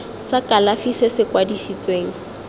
sa kalafi se se kwadisitsweng